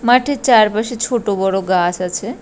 মাঠের চারপাশে ছোট বড় গাছ আছে ।